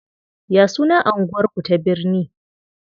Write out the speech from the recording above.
Ya sunan anguwar ku ta birne?